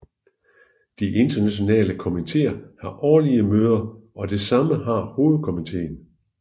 De internationale komiteer har årlige møder og det samme har hovedkomiteen